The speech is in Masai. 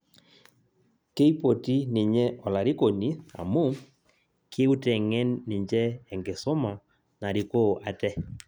Keipoti ninye olarikoni amu keuteng'en ninje enkisoma narikoo ate